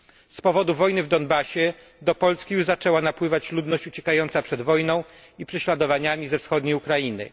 Z powodu wojny w Donbasie do Polski już zaczęła napływać ludność uciekająca przed wojną i prześladowaniami ze wschodniej Ukrainy.